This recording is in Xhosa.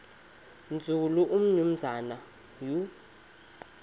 nzulu umnumzana u